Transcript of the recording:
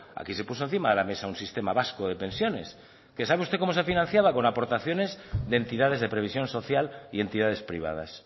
aquí se puso encima de la mesa un sistema vasco de pensiones que sabe usted como se financiaba con aportaciones de entidades de previsión social y entidades privadas